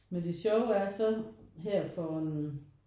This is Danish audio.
Men det sjove er så her for en